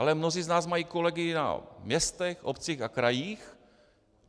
Ale mnozí z nás mají kolegy na městech, obcích a krajích.